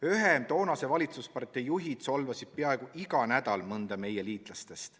Ühe toonase valitsuspartei juhid solvasid peaaegu iga nädal mõnda meie liitlastest.